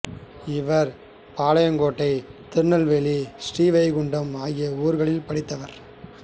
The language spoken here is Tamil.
இவர் பாளையங்கோட்டை திருநெல்வேலி ஸ்ரீ வைகுண்டம் ஆகிய ஊர்களில் படித்தார்